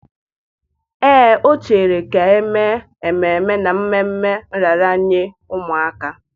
Ee, o chere ka e mee ememe n'ememme nraranye ụmụaka